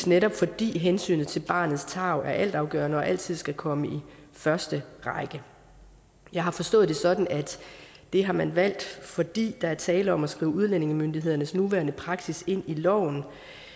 netop fordi hensynet til barnets tarv er altafgørende og altid skal komme i første række jeg har forstået det sådan at det har man valgt fordi der er tale om at skrive udlændingemyndighedernes nuværende praksis ind i loven